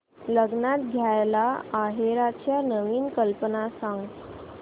लग्नात द्यायला आहेराच्या नवीन कल्पना सांग